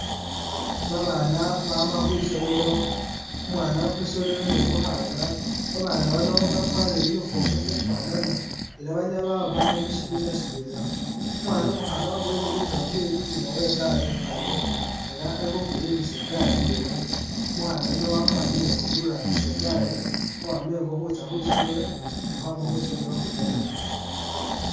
Babana bama khwisomelo, umwana umusoleri ni umukhana, babana bano bakwalire uniform ufanana ela banyala baba bama mushibina sitwela, umwana umuhana waboyele bitabo byewe inyuma we'gari khu carrier ela ali khupiringisa igari yewe, umuhana yuno wafanire uri urambisa igari khukhwame engo khutsya khwisomelo ni khukhwama khwisomelo khukhwilayo engo